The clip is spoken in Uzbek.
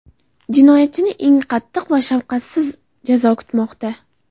Jinoyatchini eng qattiq va shafqatsiz jazo kutmoqda.